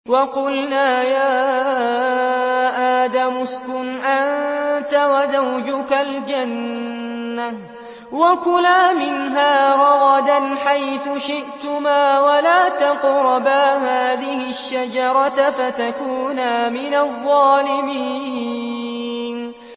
وَقُلْنَا يَا آدَمُ اسْكُنْ أَنتَ وَزَوْجُكَ الْجَنَّةَ وَكُلَا مِنْهَا رَغَدًا حَيْثُ شِئْتُمَا وَلَا تَقْرَبَا هَٰذِهِ الشَّجَرَةَ فَتَكُونَا مِنَ الظَّالِمِينَ